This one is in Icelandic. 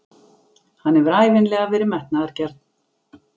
Hann hefur ævinlega verið metnaðargjarn.